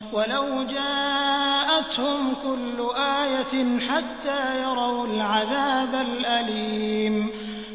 وَلَوْ جَاءَتْهُمْ كُلُّ آيَةٍ حَتَّىٰ يَرَوُا الْعَذَابَ الْأَلِيمَ